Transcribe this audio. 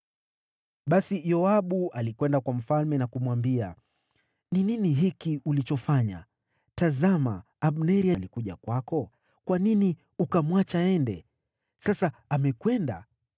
Basi Yoabu alikwenda kwa mfalme na kumwambia, “Ni nini hiki ulichofanya? Tazama, Abneri alikuja kwako. Kwa nini ukamwacha aende? Sasa amekwenda!